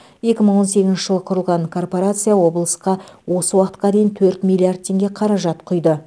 екі мың он сегізінші жылы құрылған корпорация облысқа осы уақытқа дейін төрт миллиард теңге қаражат құйды